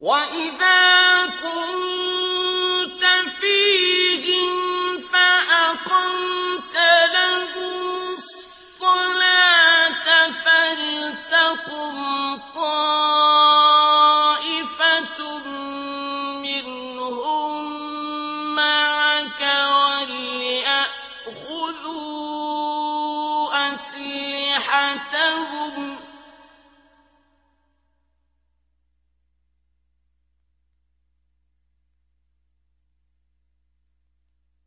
وَإِذَا كُنتَ فِيهِمْ فَأَقَمْتَ لَهُمُ الصَّلَاةَ فَلْتَقُمْ طَائِفَةٌ مِّنْهُم مَّعَكَ